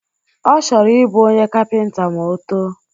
Ọ chọrọ ịbụ onye kapịnta ma o too